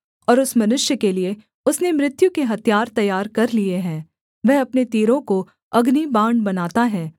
और उस मनुष्य के लिये उसने मृत्यु के हथियार तैयार कर लिए हैं वह अपने तीरों को अग्निबाण बनाता है